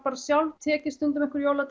tekið einhverju jóla